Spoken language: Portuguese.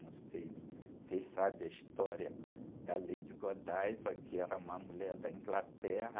Não sei se... Vocês sabem a história da Lady Godiva, que era uma mulher da Inglaterra?